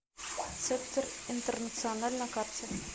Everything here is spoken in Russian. цептер интернациональ на карте